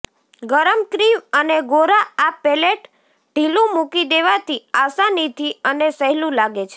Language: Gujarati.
ગરમ ક્રીમ અને ગોરા આ પેલેટ ઢીલું મૂકી દેવાથી આસાનીથી અને સહેલું લાગે છે